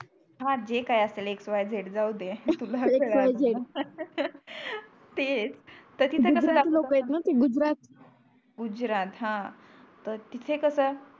हा जे काही असेल ते एक्स वाय झेड जाऊदे तुला त्रास झाला एक्स वाय झेड तेच तर तिथे का गुजराती लोक आहेत णा ते गुजरात गुजरात हा तर तिथे कस